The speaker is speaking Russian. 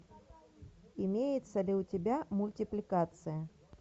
имеется ли у тебя мультипликация